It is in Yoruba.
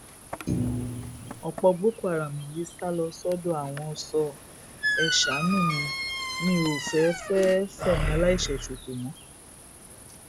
ọpọ boko haram yìí sá lọ sọdọ àwọn sọ ẹ ṣàánú mi mi ò fẹẹ fẹẹ fẹmí aláìṣẹ sọfọ mọ